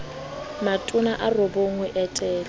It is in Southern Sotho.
matona a robong ho etela